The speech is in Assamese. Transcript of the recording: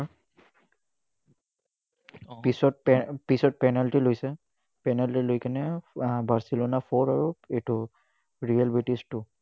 পিছত পিছত penalty লৈছে। penalty লৈ আহ barcelona four আৰু এইটো real british two